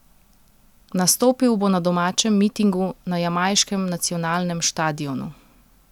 Nastopil bo na domačem mitingu na jamajškem nacionalnem štadionu.